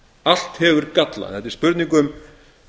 allt hefur galla þetta er spurning um